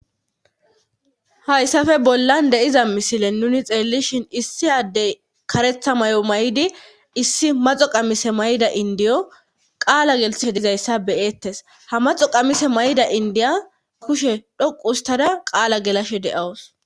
Hayssafe bollan deiza misile nuni xeellishhin issi addey karetha may'o may'di issi maxo qamise mayda indiyo qaala gelitse dizayssa beyettes ha maxo qamise may'da indiya kushe dhoqu ustada qaala gelashe de7awus.